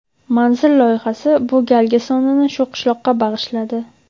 "Manzil" loyihasi bu galgi sonini shu qishloqqa bag‘ishladi.